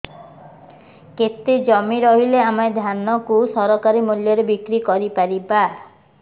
କେତେ ଜମି ରହିଲେ ଆମେ ଧାନ କୁ ସରକାରୀ ମୂଲ୍ଯରେ ବିକ୍ରି କରିପାରିବା